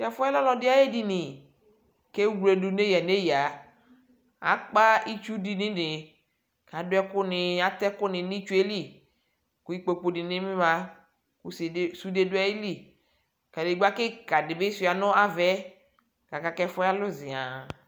tɛ fuɛ ɔlɛ ɔlɔdi ayu edini ku ewluedu neya neya akpa itchu du nu edinie adu ɛku ni atɛ n'itchue li ku ikpoku di lila ku sude du aɣili kadegba kika dibi shua nu avɛ aka k'ɛfuɛ alu zian